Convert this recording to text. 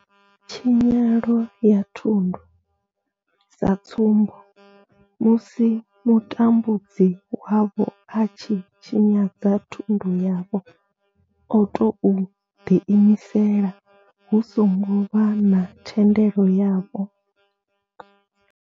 Tshinyelo ya thundu sa tsumbo, musi mutambudzi wavho a tshi tshinyadza thundu yavho o tou ḓiimisela hu songo vha na thendelo yavho.